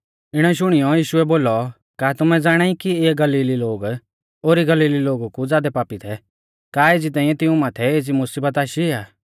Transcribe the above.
इणै शुणियौ यीशुऐ बोलौ का तुमै ज़ाणाई कि इऐ गलीली लोग ओरी गलीली लोगु कु ज़ादै पापी थै का एज़ी तांइऐ तिऊं माथै एज़ी मुसीबत आशी आ